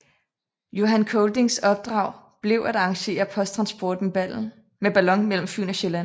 Johan Coldings opdrag blev at arrangere posttransport med ballon mellem Fyn og Sjælland